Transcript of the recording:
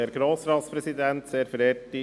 Kommissionspräsident der FiKo.